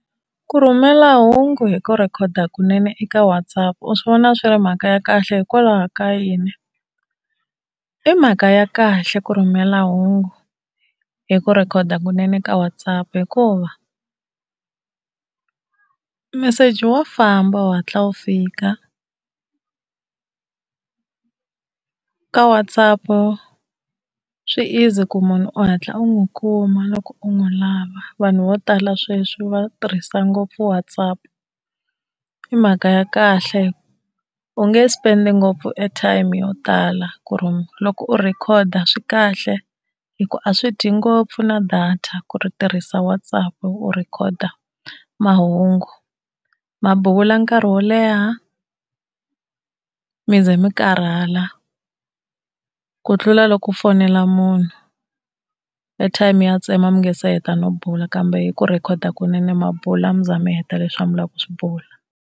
Ku rhumela hungu hi ku rhekhoda kunene eka WhatsApp u swi vona swi ri mhaka ya kahle hikwalaho ka yini? I mhaka ya kahle ku rhumela hungu hi ku rhekhoda kunene ka WhatsApp hikuva meseji wa famba, wu hatla wu fika. Ka WhatsApp swi easy ku munhu u hatla u n'wi kuma loko u n'wi lava, vanhu vo tala sweswi va tirhisa ngopfu WhatsApp. I mhaka ya kahle u nge spend ngopfu airtime yo tala ku ri loko u rhekhoda swi kahle hi ku a swi dyi ngopfu na data ku i tirhisa WhatsApp u rhekhoda mahungu. Ma bula nkarhi wo leha mi ze mi karhala ku tlula loko u fonela munhu airtime ya tsema mi nga se heta no bula. Kambe hi ku rhekhoda kunene ma bula mi za mi heta leswi a mi lava ku swi bula.